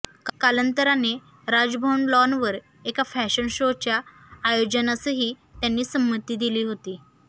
कालांतराने राजभवन लॉनवर एका फॅशन शोच्या आयोजनासही त्यांनी संमती दिली होती